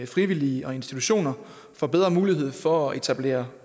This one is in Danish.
frivillige og institutioner får bedre mulighed for at etablere